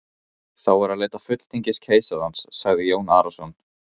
Þá er að leita fulltingis keisarans, sagði Jón Arason.